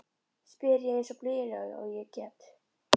spyr ég eins blíðlega og ég get.